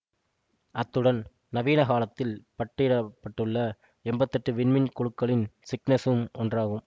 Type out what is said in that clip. அத்துடன் நவீன காலத்தில் பட்டிடப்பட்டுள்ள எம்பத்தி எட்டு விண்மீன் குழுக்களும் சிக்னசும் ஒன்றாகும்